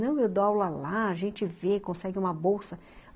Não, eu dou aula lá, a gente vê, consegue uma bolsa.